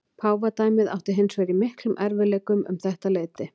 Páfadæmið átti hins vegar í miklum erfiðleikum um þetta leyti.